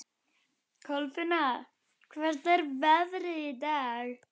Kolfinna, hvernig er veðrið í dag?